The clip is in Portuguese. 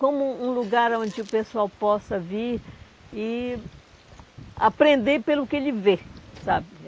Como um lugar onde o pessoal possa vir e aprender pelo que ele vê, sabe?